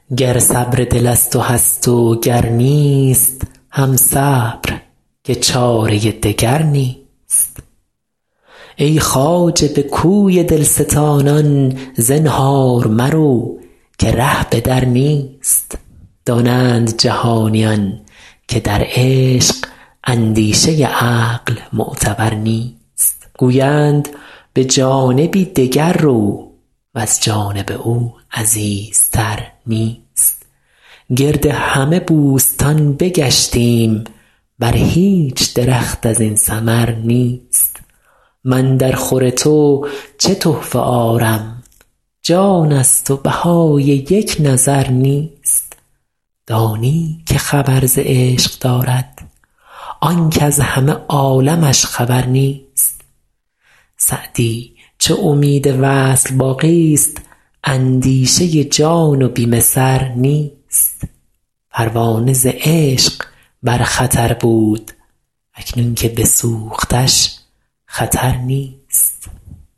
گر صبر دل از تو هست و گر نیست هم صبر که چاره دگر نیست ای خواجه به کوی دل ستانان زنهار مرو که ره به در نیست دانند جهانیان که در عشق اندیشه عقل معتبر نیست گویند به جانبی دگر رو وز جانب او عزیزتر نیست گرد همه بوستان بگشتیم بر هیچ درخت از این ثمر نیست من درخور تو چه تحفه آرم جان ست و بهای یک نظر نیست دانی که خبر ز عشق دارد آن کز همه عالمش خبر نیست سعدی چو امید وصل باقی ست اندیشه جان و بیم سر نیست پروانه ز عشق بر خطر بود اکنون که بسوختش خطر نیست